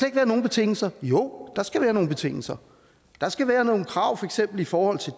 ikke være nogen betingelser jo der skal være nogle betingelser der skal være nogle krav i forhold til